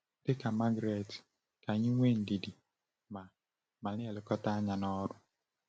Dị ka Margaret, ka anyị nwee ndidi ma ma na-elekọta anya n’ọrụ.